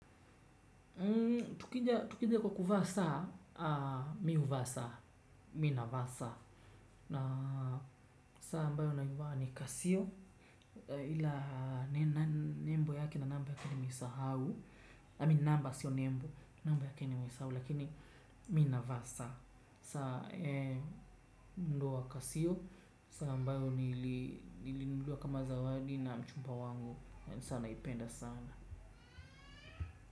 Tukija kwa kuvaa saa, mi huvaa saa, mi navaa saa. Na saa ambayo navaa ni kasio, ila nembo yake na namba ya nimesahau Amin namba sio nembo, namba yake nimesahau, lakini mi navaa saa. Saa eeh ndoa kasio, saa ambayo niilinunuliwa kama zawadi na mchumba wangu, saa naipenda sana.